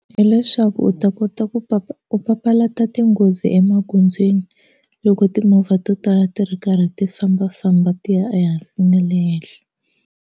Hi leswaku u ta kota ku papa u papalata tinghozi emagondzweni loko timovha to tala ti ri karhi ti fambafamba ti ya ehansi na le henhla.